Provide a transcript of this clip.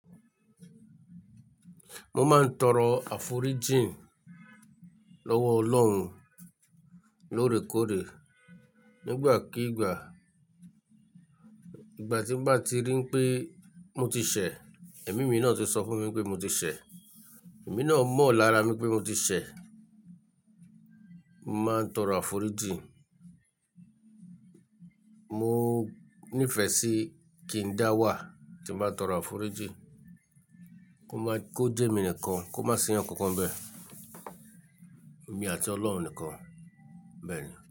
Mo máa ń tọrọ àforíjìn lọ́wọ́ Ọlọ́run lóorèkóorè nígbàkíigbà. Ìgbà tí mo bá ti rí pé mo ti ṣẹ̀, ẹ̀mí mi náà ti sọ fún mi pé mo ti ṣẹ̀. Ẹ̀mí náà mọ̀ lára mi pé mo ti ṣẹ̀. Mo máa ń tọrọ àforíjìn. Mo nífẹ̀ẹ́ sí kí n dáwà tí n bá tọrọ àforíjìn. Kó máa, kó jẹ́ emi nìkan, kó má sì eeyan kankan n bẹ. Èmi àti Ọlọ́run nìkan. Bẹ́ẹ̀ni.